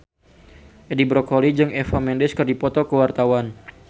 Edi Brokoli jeung Eva Mendes keur dipoto ku wartawan